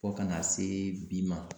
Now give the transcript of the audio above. Fo kana see bi ma